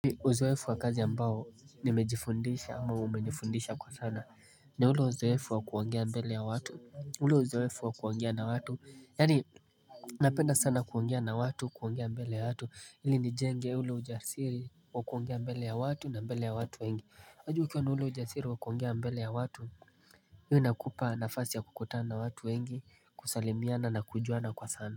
Uzoefu wa kazi ambao nimejifundisha ama umejifundisha kwa sana ni ule uzoefu wa kuongea mbele ya watu ule uzoefu wa kuongea na watu Yaani napenda sana kuongea na watu kuongea mbele ya watu ili nijenge ule ujasiri wa kuongea mbele ya watu na mbele ya watu wengi. Unajua ukiwa na ule ujasiri wa kuongea mbele ya watu huwa inakupa nafasi ya kukutana watu wengi, kusalimiana na kujuana kwa sana.